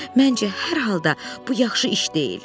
Məncə, hər halda bu yaxşı iş deyil.